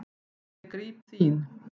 Ég gríp þín.